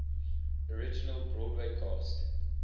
original broadway cast